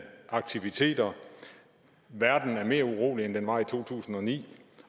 aktiviteter verden er mere urolig end den var i to tusind og ni